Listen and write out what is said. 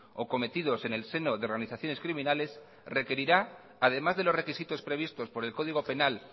o cometidos en el seno de organizaciones criminales requerirá además de los requisitos previstos por el código penal